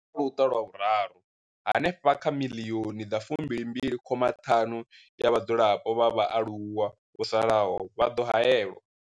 Kha Luṱa lwa vhuraru, hanefha kha 22.5 miḽioni ya vhadzulapo vha vhaaluwa vho salaho vha ḓo haelwa.